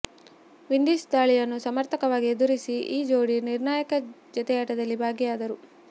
Windies ದಾಳಿಯನ್ನು ಸಮರ್ಥವಾಗಿ ಎದುರಿಸಿದ ಈ ಜೋಡಿ ನಿರ್ಣಾಯಕ ಜತೆಯಾಟದಲ್ಲಿ ಭಾಗಿಯಾದರು